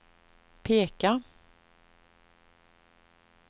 peka